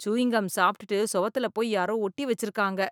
Chewing gum சாப்டுட்டு சுவத்துல போய் யாரோ ஒட்டி வச்சுருக்காங்க.